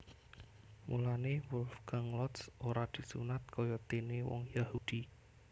Mulané Wolfgang Lotz ora disunat kayadéné wong Yahudi